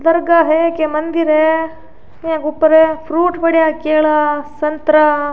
दरगाह है की मंदिर है ये ऊपर फ्रूट पढेरा केला संतरा।